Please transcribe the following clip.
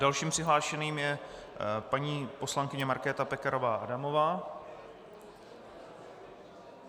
Dalším přihlášeným je paní poslankyně Markéta Pekarová Adamová.